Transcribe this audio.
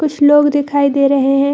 कुछ लोग दिखाई दे रहें हैं।